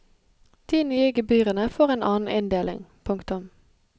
De nye gebyrene får en annen inndeling. punktum